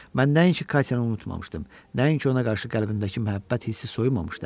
Mən nəinki Katyanı unutmamışdım, nəinki ona qarşı qəlbindəki məhəbbət hissi soyumamışdı.